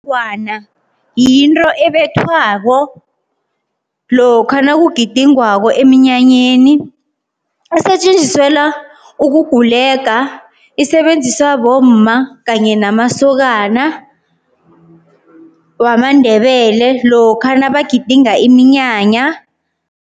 Ifengwana yinto ebethwako lokha nakugidingwako emnyanyeni, isetjenziselwa ukugulega, isebenziswa bomma kanye namasokana wamaNdebele lokha nabagidinga iminyanya.